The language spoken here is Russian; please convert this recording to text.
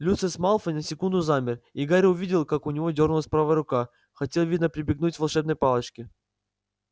люциус малфой на секунду замер и гарри увидел как у него дёрнулась правая рука хотел видно прибегнуть к волшебной палочке